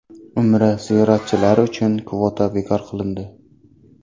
Umra ziyoratchilari uchun kvota bekor qilindi.